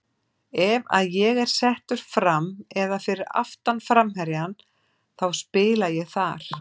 Ef að ég er settur fram eða fyrir aftan framherjann þá spila ég þar.